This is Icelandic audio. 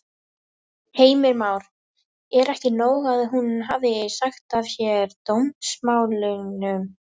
Heimir Már: Er ekki nóg að hún hafi sagt af sér dómsmálunum?